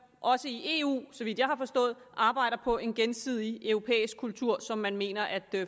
også i eu så vidt jeg har forstået arbejder på en gensidig europæisk kultur som man mener at